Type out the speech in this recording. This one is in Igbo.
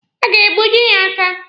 A ga-egbuji ya aka?